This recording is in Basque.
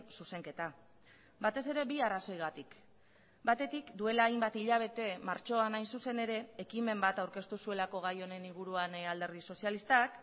zuzenketa batez ere bi arrazoigatik batetik duela hainbat hilabete martxoan hain zuzen ere ekimen bat aurkeztu zuelako gai honen inguruan alderdi sozialistak